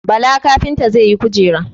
Bala kafinta zai yi Kujera.